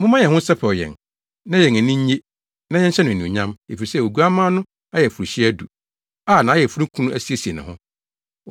Momma yɛn ho nsɛpɛw yɛn na yɛn ani nnye na yɛnhyɛ no anuonyam efisɛ Oguamma no ayeforohyia adu a nʼayeforokunu asiesie ne ho.